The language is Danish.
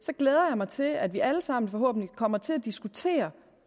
glæder mig til at vi alle sammen forhåbentlig kommer til at diskutere